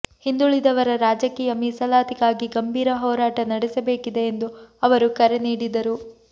ಹಿಂದುಳಿದವರ ರಾಜಕೀಯ ಮೀಸಲಾತಿಗಾಗಿ ಗಂಭೀರ ಹೋರಾಟ ನಡೆಸಬೇಕಿದೆ ಎಂದು ಅವರು ಕರೆ ನೀಡಿದರು